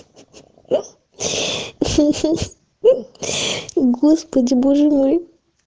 господи боже мой